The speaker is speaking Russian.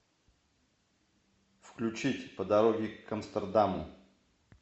включить по дороге к амстердаму